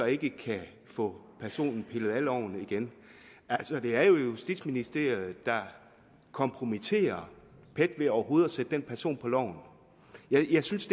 ikke kan få personen pillet af loven igen det er jo justitsministeriet der kompromitterer pet ved overhovedet at sætte den person på loven jeg synes